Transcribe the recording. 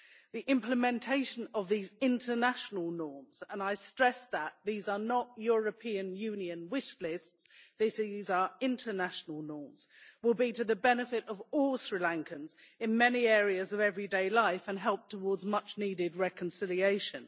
The implementation of these international norms and I stress that these are not European Union wish lists, these are international norms will be to the benefit of all Sri Lankans in many areas of everyday life and help towards much needed reconciliation.